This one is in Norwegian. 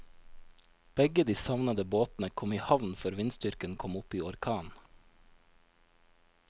Begge de savnede båtene kom i havn før vindstyrken kom opp i orkan.